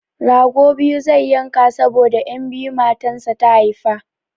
Rago biyu zai yanka saboda 'yan biyu matansa ta haifa.